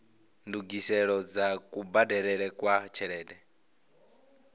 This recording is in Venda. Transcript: ndungiselo dza kubadelele kwa tshelede